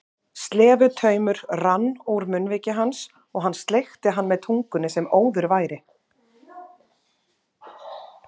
Slefutaumur rann úr munnviki hans og hann sleikti hann með tungunni sem óður væri.